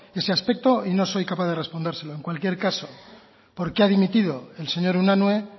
ese aspecto y no soy capaz de respondérselo en cualquier caso por qué ha dimitido el señor unanue